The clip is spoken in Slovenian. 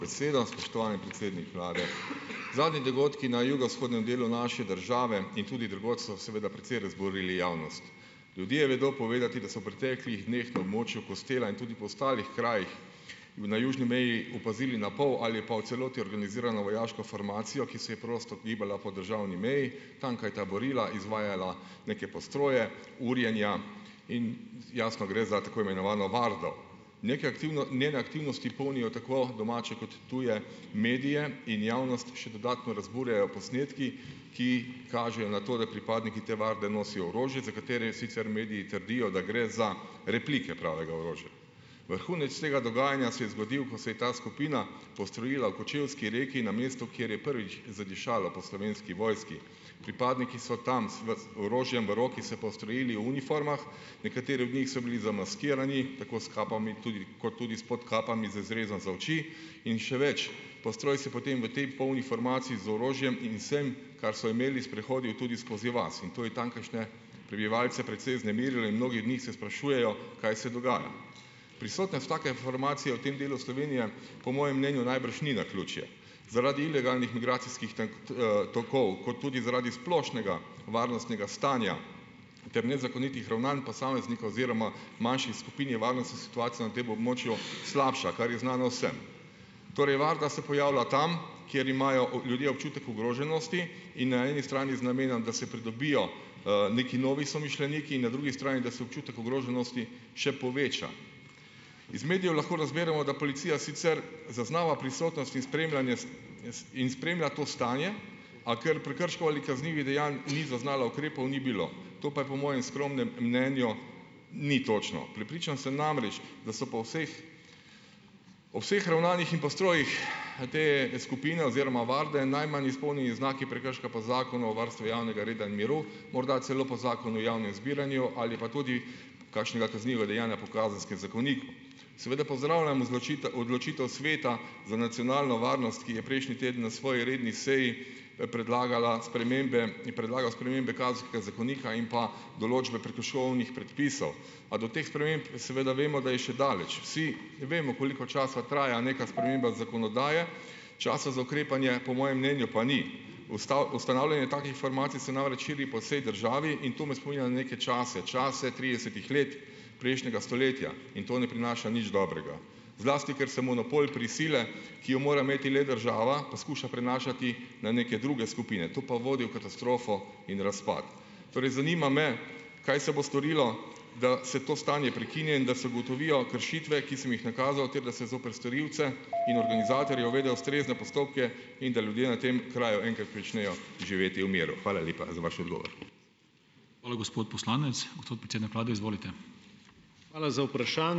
Za besedo. Spoštovani predsednik vlade. Zadnji dogodki na jugovzhodnem delu naše države in tudi drugod so seveda precej razburili javnost. Ljudje vedo povedati, da so v preteklih dneh na območju Kostela in tudi po ostalih krajih v na južni meji opazili na pol ali pa v celoti organizirano vojaško formacijo, ki se je prosto gibala po državni meji, tamkaj taborila, izvajala neke postroje, urjenja, in jasno gre za tako imenovano vardo. Neke njene aktivnosti polnijo tako domače kot tuje medije in javnost še dodatno razburjajo posnetki, ki kažejo na to, da pripadniki te varde nosijo orožje, za katere sicer mediji trdijo, da gre za replike pravega orožja. Vrhunec tega dogajanja se je zgodil, ko se je ta skupina postrojila v Kočevski Reki na mestu, kjer je prvič zadišalo po Slovenski vojski. Pripadniki so tam z orožjem v roki se postrojili v uniformah, nekateri od njih so bili zamaskirani, tako s kapami tudi kot tudi s podkapami z izrezom za oči, in še več, postroj se je potem v tej polni formaciji z orožjem in vsem, kar so imeli, sprehodil tudi skozi vas in to je tamkajšnje prebivalce precej vznemirilo in mnogi od njih se sprašujejo, kaj se dogaja. Prisotnost take formacije v tem delu Slovenije po mojem mnenju najbrž ni naključje, zaradi ilegalnih migracijskih tokov kot tudi zaradi splošnega varnostnega stanja ter nezakonitih ravnanj posameznika oziroma manjših skupin je varnostna situacija na tem območju slabša, kar je znano vsem. Torej varda se pojavlja tam, kjer imajo ljudje občutek ogroženosti, in na eni strani z namenom, da se pridobijo, nekaj novi somišljeniki in na drugi strani, da se občutek ogroženosti še poveča. Iz medijev lahko razberemo, da policija sicer zaznava prisotnost in spremljanje in spremlja to stanje, a ker prekrškov ali kaznivih dejanj ni zaznala, ukrepov ni bilo, to pa je po mojem skromnem mnenju ni točno. Prepričan sem namreč, da so po vseh o vseh ravnanjih in postrojih te skupine oziroma varde najmanj izpolnijo znaki prekrška po Zakonu o varstvu javnega reda in miru, morda celo po Zakonu o javnem zbiranju ali pa tudi kakšnega kaznivega dejanja po Kazenskem zakoniku. Seveda pozdravljam odločitev Sveta za nacionalno varnost, ki je prejšnji teden na svoji redni seji, predlagal spremembe in predlaga spremembe Kazenskega zakonika in pa določbe prekrškovnih predpisov, a do teh sprememb seveda vemo, da je še daleč. Vsi vemo, koliko časa traja neka sprememba zakonodaje, časa za ukrepanje po mojem mnenju pa ni. ustanavljanje takih formacij se namreč širi po vsej državi in to me spominja na neke čase, čase tridesetih let prejšnjega stoletja in to ne prinaša nič dobrega. Zlasti ker se monopol prisile, ki jo mora imeti le država, poskuša prenašati na neke druge skupine, to pa vodi v katastrofo in razpad. Torej zanima me: Kaj se bo storilo, da se to stanje prekine in da se ugotovijo kršitve, ki sem jih nakazal, ter da se zoper storilce in organizatorje uvede ustrezne postopke in da ljudje na tem kraju enkrat pričnejo živeti v miru. Hvala lepa za vaš odgovor.